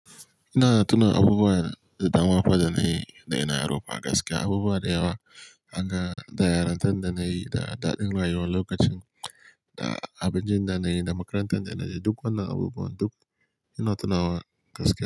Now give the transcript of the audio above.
Ina tuna abubuwa da dama fa da na yi da da ina yaro fa gaskiya abubuwa da yawa, kaga da yarintar da na yi da daɗin rayuwa lokacin da abincin da na yi da makarantar da na yi duk wannan abubuwan duk ina tunawa gaskiya.